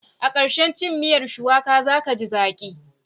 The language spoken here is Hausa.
A ƙarshen cin miyar shuwaka za ka ji zaƙi.